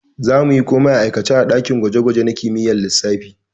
We will do everything practically in physics lab.